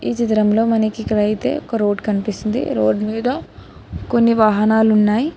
ఈ చిత్రంలో మనకి ఇక్కడైతే ఒక రోడ్ కనిపిస్తుంది రోడ్ మీద కొన్ని వాహనాలు ఉన్నాయి.